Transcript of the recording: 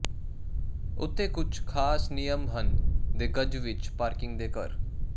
ਉੱਥੇ ਕੁਝ ਖਾਸ ਨਿਯਮ ਹਨ ਦੇ ਗਜ਼ ਵਿੱਚ ਪਾਰਕਿੰਗ ਦੇ ਘਰ